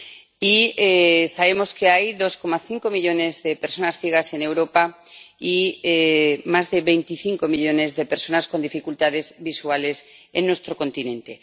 Y sabemos que hay 2,5 millones de personas ciegas en Europa y más de 25 millones de personas con dificultades visuales en nuestro continente.